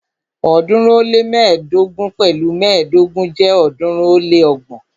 ọ̀ọ́dúnrún ó lé mẹ́ẹ̀ẹ́dógún pẹ̀lu mẹ́ẹ̀ẹ́dógún jẹ́ ọ̀ọ́dúnrún ó lé ọgbọ̀n.